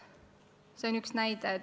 See on üks näide.